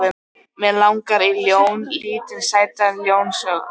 Mig langar í ljón, lítinn sætan ljónsunga.